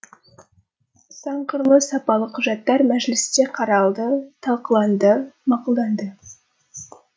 сан қырлы сапалы құжаттар мәжілісте қаралды талқыланды мақұлданды